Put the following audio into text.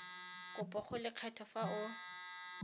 kopo go lekgotlha fa o